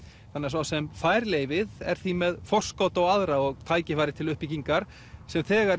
sá sem fær leyfið er því með forskot á aðra og tækifæri til uppbyggingar sem þegar